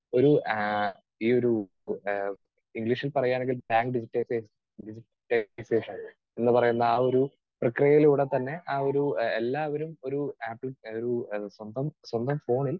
speaker 2 ഒരു ആഹ് ഈയൊരു ആഹ് ഇംഗ്ലീഷിൽ പറയുകയാണെങ്കിൽ എന്ന് പറയുന്ന ആ ഒരു പ്രക്രിയയിലൂടെ തന്നെ ആ ഒരു എല്ലാവരും ഒരു ആപ്പിൽ ഒരു സ്വന്തം സ്വന്തം ഫോണിൽ